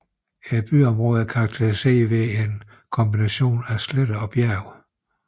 Byområdet er karakteriseret ved en kombination af sletter og bjerge